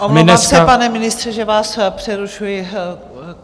Omlouvám se, pane ministře, že vás přerušuji.